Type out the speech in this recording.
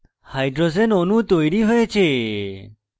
hydrogen অণু তৈরী হয়েছে